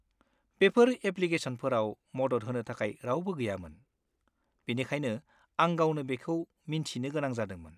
बेफोर एप्लिकेशनफोराव मदद होनो थाखाय रावबो गैयामोन, बेनिखायनो आं गावनो बेखौ मिन्थिनो गोनां जादोंमोन।